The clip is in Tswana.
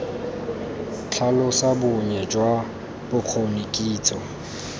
tlhalosa bonnye jwa bokgoni kitso